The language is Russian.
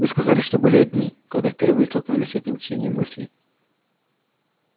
вы сказали что были одни когда впервые столкнулись с этим чтением мыслей